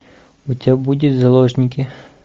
у тебя будет заложники